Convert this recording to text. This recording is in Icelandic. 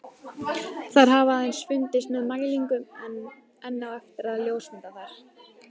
Þær hafa aðeins fundist með mælingum en enn á eftir að ljósmynda þær.